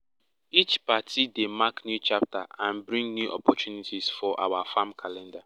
each party dey mark new chapter and bring new opportunities for our farm calender